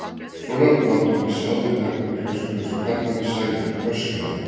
Svona, láttu mig sjá þig taka upp flösku eins og karlmanni sæmir öskraði